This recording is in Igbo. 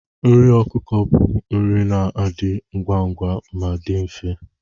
Nri ọkụkọ bu nri na-adị ngwa ngwa ma dị mfe.